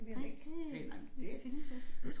Nej det øh det findes ikke